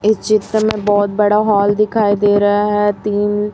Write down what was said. इस चित्र में बहोत बड़ा हॉल दिखाई दे रहा है तीन--